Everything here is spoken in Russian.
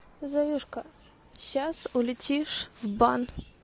заюшка сейчас улетишь в бан